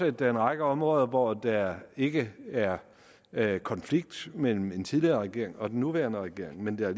at der er en række områder hvor der ikke er er konflikt mellem den tidligere regering og den nuværende regering men der er